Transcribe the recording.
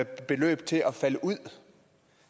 beløb til at falde ud